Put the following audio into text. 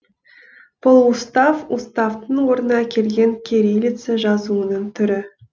полуустав уставтың орнына келген кириллица жазуының түрі